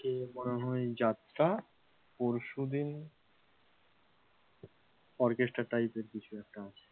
এরপরে মনে হয় যাত্রা, পরশু দিন orchestra type এর কিছু একটা আছে,